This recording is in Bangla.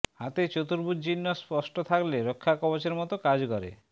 হাতে চতুর্ভুজ চিহ্ন স্পষ্ট থাকলে রক্ষাকবচের মত কাজ করে